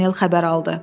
Paqanel xəbər aldı.